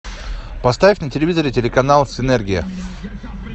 поставь на телевизоре телеканал синергия